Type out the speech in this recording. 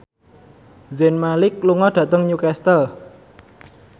Zayn Malik lunga dhateng Newcastle